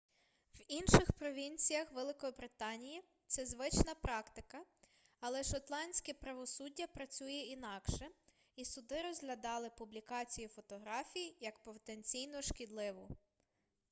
в інших провінціях великобританії це звична практика але шотландське правосуддя працює інакше і суди розглядали публікацію фотографій як потенційно шкідливу